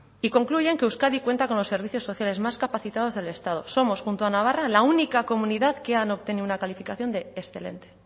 y concluyen que euskadi cuenta con los servicios sociales más capacitados del estado somos junto a navarra la única comunidad que ha obtenido una calificación de excelente